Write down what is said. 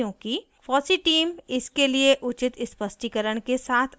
fossee team इसके लिए उचित स्पष्टीकरण के साथ आई